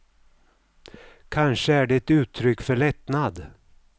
Kanske är det ett uttryck för lättnad.